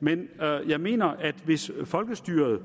men jeg mener at det hvis folkestyret